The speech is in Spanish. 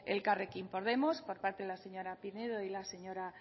elkarrekin podemos por parte de la señora pinedo y la señora